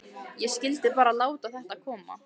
Ég skyldi bara láta þetta koma.